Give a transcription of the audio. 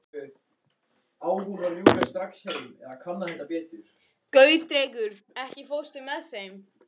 Gautrekur, ekki fórstu með þeim?